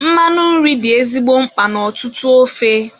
Mmanụ nri dị ezigbo mkpa n' ọtụtụ ofe.